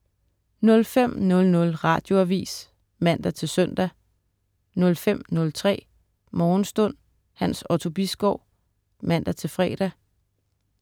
05.00 Radioavis (man-søn) 05.03 Morgenstund. Hans Otto Bisgaard (man-fre)